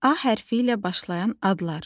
A hərfi ilə başlayan adlar.